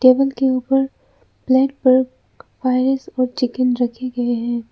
Table के ऊपर plate पर राइस और चिकन रखे गए हैं।